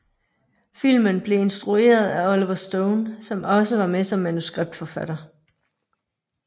Filmen blev instrueret af Oliver Stone som også var med som manuskriptforfatter